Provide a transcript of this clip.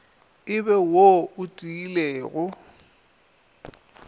e be wo o tiilego